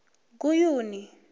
guyuni